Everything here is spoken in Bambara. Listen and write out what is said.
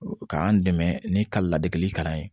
K'an dɛmɛ ni ka ladege kalan ye